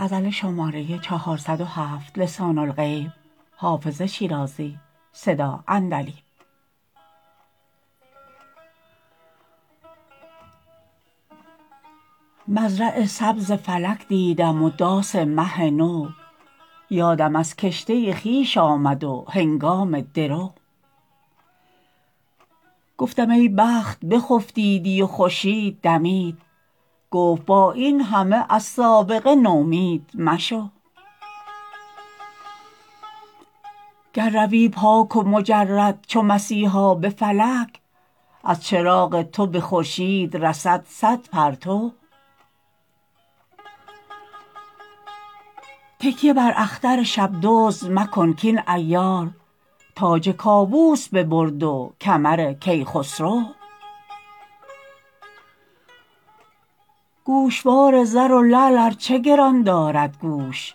مزرع سبز فلک دیدم و داس مه نو یادم از کشته خویش آمد و هنگام درو گفتم ای بخت بخفتیدی و خورشید دمید گفت با این همه از سابقه نومید مشو گر روی پاک و مجرد چو مسیحا به فلک از چراغ تو به خورشید رسد صد پرتو تکیه بر اختر شب دزد مکن کاین عیار تاج کاووس ببرد و کمر کیخسرو گوشوار زر و لعل ار چه گران دارد گوش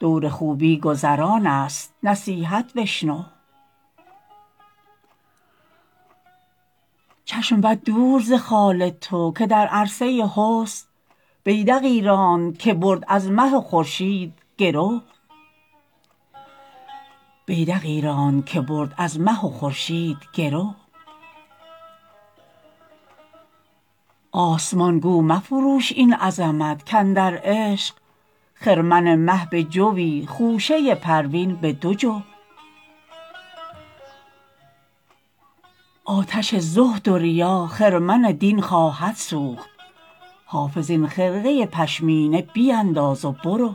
دور خوبی گذران است نصیحت بشنو چشم بد دور ز خال تو که در عرصه حسن بیدقی راند که برد از مه و خورشید گرو آسمان گو مفروش این عظمت کاندر عشق خرمن مه به جوی خوشه پروین به دو جو آتش زهد و ریا خرمن دین خواهد سوخت حافظ این خرقه پشمینه بینداز و برو